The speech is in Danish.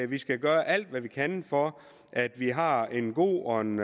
vi skal gøre alt hvad vi kan for at vi har en god og en